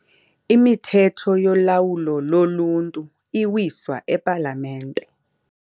Imithetho yolawulo loluntu iwiswa epalamente.